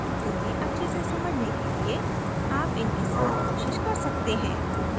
उन्हें अच्छे से समझने के लिए आप इनके साथ कोशिश कर सकते हैं